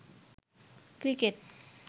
cricket